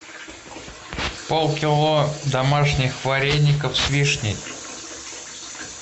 полкило домашних вареников с вишней